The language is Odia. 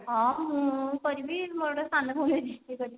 ହଁ ମୁଁ କରିବି ମୋର ଗୋଟେ ସାନ ଭଉଣୀ ଅଛି ସେ କରିବ